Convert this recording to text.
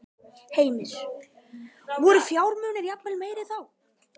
Heimir: Voru fjármunirnir jafnvel meiri þá?